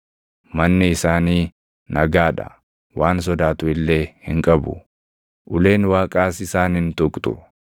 Manni isaanii nagaa dha; waan sodaatu illee hin qabu; uleen Waaqaas isaan hin tuqxu.